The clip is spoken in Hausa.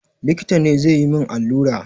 Likita ne zai yi min allura.